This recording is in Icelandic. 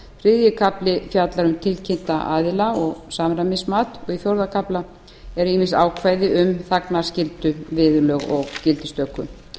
þriðji kafli fjallar um tilkynnta aðila og samræmismat og í fjórða kafla eru ýmis ákvæði um þagnarskyldu viðurlög og gildistöku